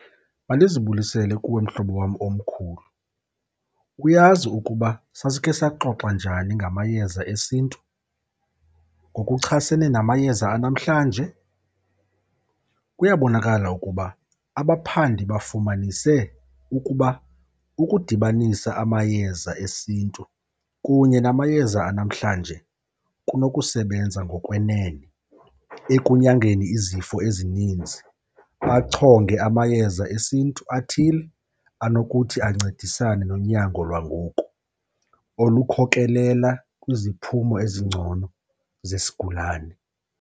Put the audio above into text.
Mandizibulisele kuwe mhlobo wam omkhulu. Uyazi ukuba sasikhe saxoxa njani ngamayeza esintu ngokuchasene namayeza anamhlanje. Kuyabonkala ukuba abaphandi bafumanise ukuba ukudibanisa amayeza esintu kunye namayeza anamhlanje kunokusebenza ngokwenene ekunyangeni izifo ezininzi, achonge amayeza esintu athile anokuthi ancedisane nonyango lwangoku olukhokelela kwiziphumo ezingcono zesigulane.